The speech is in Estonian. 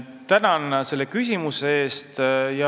Tänan selle küsimuse eest!